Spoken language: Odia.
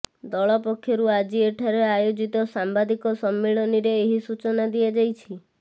ଦଳ ପକ୍ଷରୁ ଆଜି ଏଠାରେ ଆୟୋଜିତ ସାମ୍ବାଦିକ ସମ୍ମିଳନୀରେ ଏହି ସୂଚନା ଦିଆଯାଇଛି